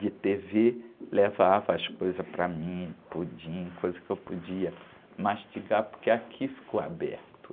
de tê-vê, levava as coisas para mim, pudim, coisas que eu podia mastigar, porque aqui ficou aberto.